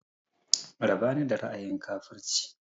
Raba ni da ra'ayin kafurci!